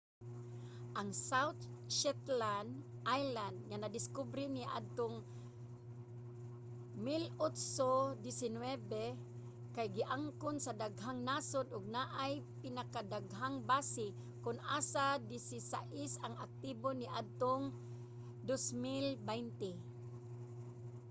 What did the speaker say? ang south shetland islands nga nadiskubre niadtong 1819 kay giangkon sa daghang nasod ug anaay pinakadaghang base kon asa desisayis ang aktibo niadtong 2020